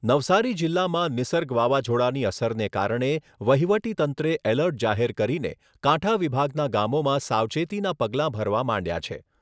નવસારી જિલ્લામાં નિસર્ગ વાવાઝોડાની અસરને કારણે વહીવટી તંત્રે એલર્ટ જાહેર કરીને કાંઠા વિભાગના ગામોમાં સાવચેતીના પગલાં ભરવા માંડ્યાં છે.